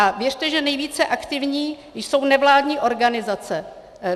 A věřte, že nejvíce aktivní jsou nevládní organizace.